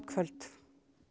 kvöld